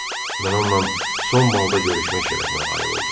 Mən onunla son balda görüşmək şərəfinə nail oldum.